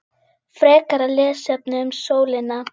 Frekara lesefni um sólina